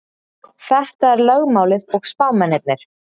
Þetta er lögmálið og spámennirnir.